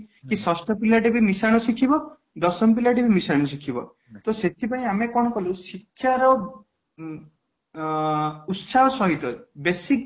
ଷଷ୍ଠ ପିଲା ଟେ ବି ମିଶନ ଶିଖିଵ ଦଶମ ପିଲା ଟେ ବି ମିଶନ ଶିଖିବ ତ ସେଥିପାଇଁ ଆମେ କ'ଣ କଲୁ ନା ଶିକ୍ଷାର ଉଁ ଆଁ ଉତ୍ସାହ ସହିତ basic